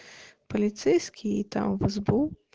полицейские и там в сбу